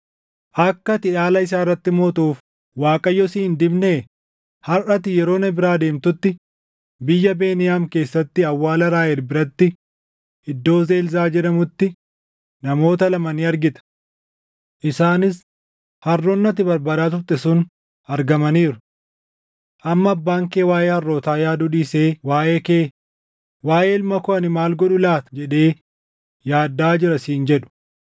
Harʼa ati yeroo na biraa deemtutti biyya Beniyaam keessatti awwaala Raahel biratti iddoo Zelzaa jedhamutti namoota lama ni argita. Isaanis, ‘Harroonni ati barbaadaa turte sun argamaniiru. Amma abbaan kee waaʼee harrootaa yaaduu dhiisee waaʼee kee, “Waaʼee ilma koo ani maal godhu laata?” jedhee yaaddaʼaa jira’ siin jedhu.